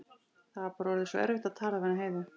Það var bara orðið svo erfitt að tala við hana Heiðu.